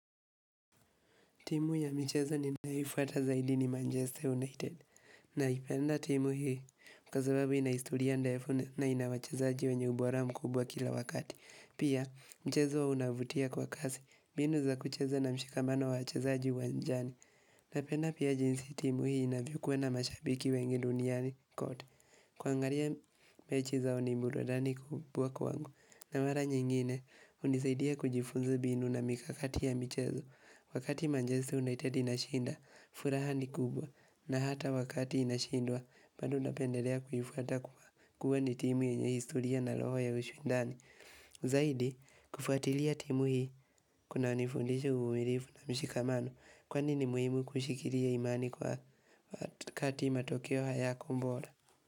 Timu ya michezo ninayoifuata zaidi ni Manchester United. Naipenda timu hii kwa sababu inahistoria ndefu na ina wachezaji wenye ubora mkubwa kila wakati. Pia, michezo unavutia kwa kasi, binu za kucheza na mshikamano wa wachezaji uwanjani. Napenda pia jinsi timu hii inavyokuwa na mashabiki wengi duniani kote. Kuangalia mechi zao ni burudani kubwa kwangu. Na mara nyingine, hunisaidia kujifunza mbinu na mikakati ya michezo. Wakati Manchester United inashinda, furaha ni kubwa, na hata wakati inashindwa, bado napendelea kuifuata kuwa ni timu yenye historia na roho ya ushindani. Zaidi, kufuatilia timu hii, kunanifundisha uvumilivu na mshikamano, kwani ni muhimu kushikilia imani kwa wakati matokeo hayako bora.